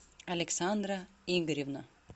александра игоревна